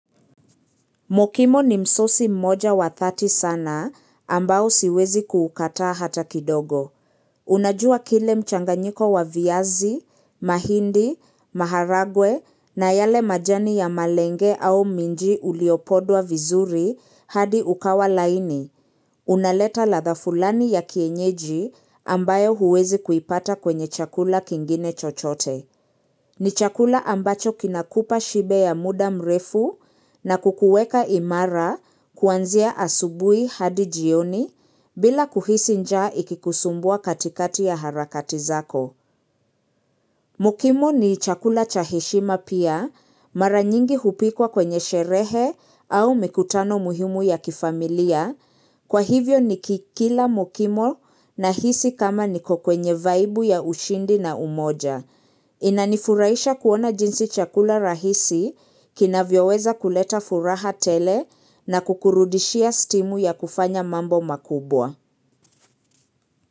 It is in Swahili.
Mokimo ni msosi mmoja wa thati sana ambao siwezi ku ukataa hata kidogo. Unajua kile mchanganyiko wa viazi, mahindi, maharagwe na yale majani ya malenge au minji uliopodwa vizuri hadi ukawa laini. Unaleta latha fulani ya kienyeji ambayo huwezi kuipata kwenye chakula kingine chochote. Ni chakula ambacho kinakupa shibe ya muda mrefu na kukuweka imara kuanzia asubuhi hadi jioni bila kuhisi njaa ikikusumbua katikati ya harakati zako. Mokimo ni chakula cha heshima pia mara nyingi hupikwa kwenye sherehe au mikutano muhimu ya kifamilia kwa hivyo ni kikila mokimo na hisi kama niko kwenye vaibu ya ushindi na umoja. Inanifurahisha kuona jinsi chakula rahisi kina vyoweza kuleta furaha tele na kukurudishia stimu ya kufanya mambo makubwa.